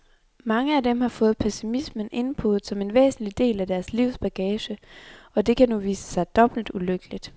Mange af dem har fået pessimismen indpodet som en væsentlig del af deres livs bagage, og det kan nu vise sig dobbelt ulykkeligt.